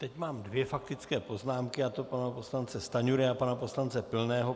Teď mám dvě faktické poznámky, a to pana poslance Stanjury a pana poslance Pilného.